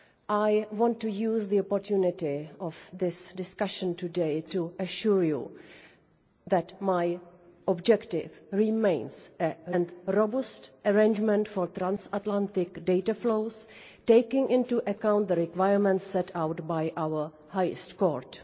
I want to use the opportunity of this discussion today to assure you that my objective remains a renewed and robust arrangement for transatlantic data flows, taking into account the requirements set out by our highest court.